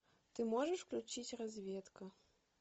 ты можешь включить разведка